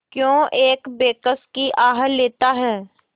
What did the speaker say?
क्यों एक बेकस की आह लेता है